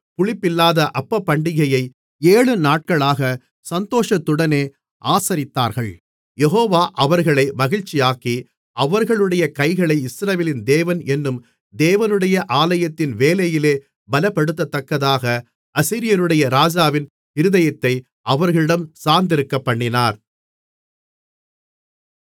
புளிப்பில்லாத அப்பப்பண்டிகையை ஏழுநாட்களாக சந்தோஷத்துடனே ஆசரித்தார்கள் யெகோவா அவர்களை மகிழ்ச்சியாக்கி அவர்களுடைய கைகளை இஸ்ரவேலின் தேவன் என்னும் தேவனுடைய ஆலயத்தின் வேலையிலே பலப்படுத்தத்தக்கதாக அசீரியருடைய ராஜாவின் இருதயத்தை அவர்களிடம் சார்ந்திருக்கப்பண்ணினார்